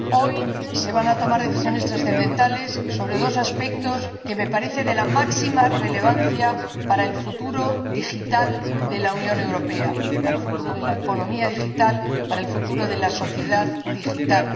Señor Presidente, Vicepresidente, Señorías, hoy se van a tomar decisiones trascendentales sobre dos aspectos que me parecen de la máxima relevancia para el futuro digital de la Unión Europea, para el futuro de la economía digital, para el futuro de la sociedad digital